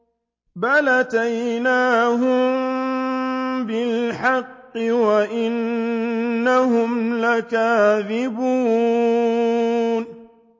بَلْ أَتَيْنَاهُم بِالْحَقِّ وَإِنَّهُمْ لَكَاذِبُونَ